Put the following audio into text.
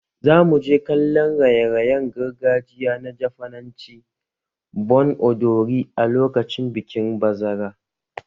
Za mu je kallon raye-rayen gargajiya na Jafananci "Bon Odori" a lokacin bikin bazara